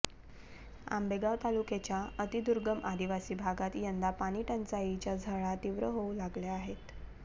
आंबेगाव तालुक्याच्या अतिदुर्गम आदिवासी भागात यंदा पाणीटंचाईच्या झळा तीव्र होऊ लागल्या आहेत